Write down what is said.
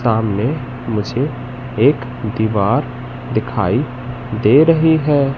सामने मुझे एक दीवार दिखाई दे रही है।